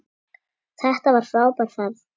Þetta var frábær ferð.